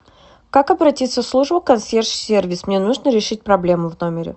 как обратиться в службу консьерж сервис мне нужно решить проблему в номере